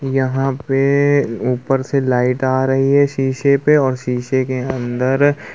यहाँ पे ऊँपर से लाइट आ रही है शीशे पे और शीशे के अन्दर --